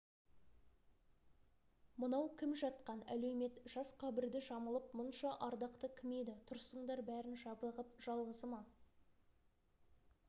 мынау кім жатқан әлеумет жас қабірді жамылып мұнша ардақты кім еді тұрсыңдар бәрің жабығып жалғызы ма